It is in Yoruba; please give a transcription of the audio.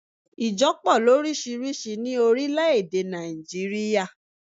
Ìjo po lórísírìsí ní orílé èdè Nàìjíríà